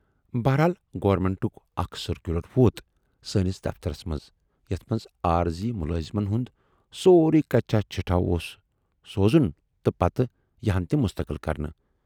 بہرحال گورنمنٹُک اکھ سٔرکیوٗلر ووت سٲنِس دفترس منز یَتھ مَنز عٲرضی مُلٲزمن ہُند سورُے کچہِ چِٹھِ اوس سوزُن تہٕ پتہٕ یِہَن تِم مستقل کرنہٕ۔